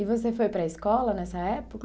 E você foi para a escola nessa época?